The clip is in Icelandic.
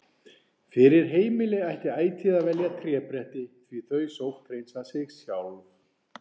Fyrir heimili ætti ætíð að velja trébretti því þau sótthreinsa sig sjálf.